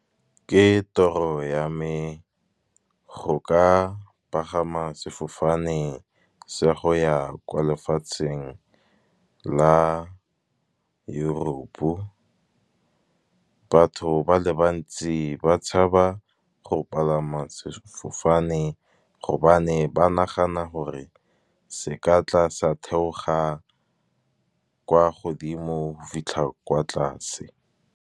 Ke toro ya me go ka pagama sefofane se go ya kwa lefatsheng la Europe. Batho ba le bantsi ba tshaba go palama sefofane, gobane ba nagana gore se ka tla sa theoga kwa godimo fitlha kwa tlase.